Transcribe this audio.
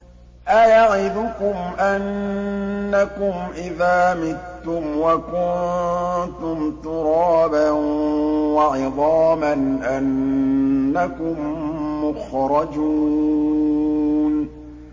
أَيَعِدُكُمْ أَنَّكُمْ إِذَا مِتُّمْ وَكُنتُمْ تُرَابًا وَعِظَامًا أَنَّكُم مُّخْرَجُونَ